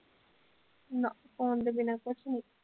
ਨਾ phone ਤੋਂ ਬਿਨਾ ਕੁਛ ਨੀ।